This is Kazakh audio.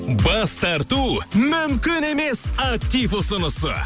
бас тарту мүмкін емес актив ұсынысы